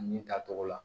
Nin ta tɔgɔ la